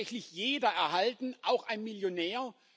Soll es tatsächlich jeder erhalten, auch ein Millionär?